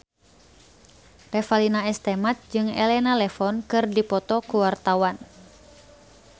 Revalina S. Temat jeung Elena Levon keur dipoto ku wartawan